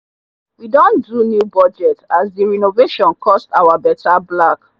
we don do new budget as the renovation cost our better black